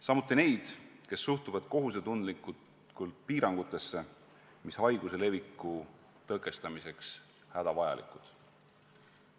Samuti tänan neid, kes suhtuvad kohusetundlikult piirangutesse, mis haiguse leviku tõkestamiseks on hädavajalikud.